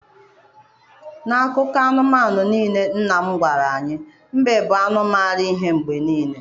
N'akụkọ anụmanụ niile nna m gwara anyị, mbe bụ anụ mara ihe mgbe niile.